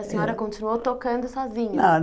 A senhora continuou tocando sozinha.